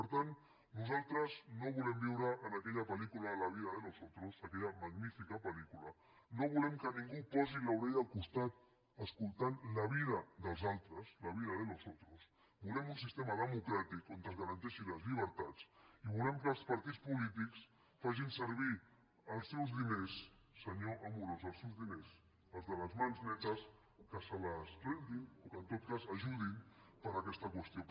per tant nosaltres no podem viure en aquella pellícula la vida de los otroscula no volem que ningú posi l’orella al costat escoltant la vida dels altres la vida de los otros volem un sistema democràtic on es garanteixin les llibertats i volem que els partits polítics facin servir els seus diners senyor amorós els seus diners els de les mans netes que se les rentin o que en tot cas ajudin per a aquesta qüestió